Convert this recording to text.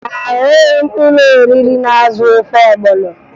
Ahụghị m ụlọoriri na-azụ ofe ọgbọnọ